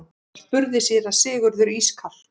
spurði síra Sigurður ískalt.